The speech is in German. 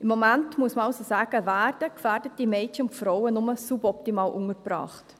Im Moment – muss man also sagen – werden gefährdete Mädchen und Frauen nur suboptimal untergebracht.